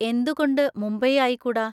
എന്തുകൊണ്ട് മുംബൈ ആയിക്കൂടാ?